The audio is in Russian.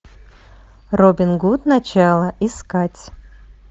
робин гуд начало искать